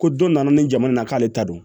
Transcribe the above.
Ko don nana ni jamana na k'ale ta don